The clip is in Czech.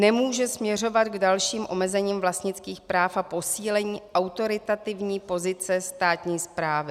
Nemůže směřovat k dalším omezením vlastnických práv a posílení autoritativní pozice státní správy.